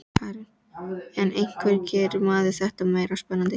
Karen: En hvernig gerir maður þetta meira spennandi?